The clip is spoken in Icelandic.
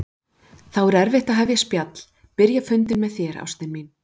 Þá er erfitt að hefja spjall, byrja fund með þér, ástin mín.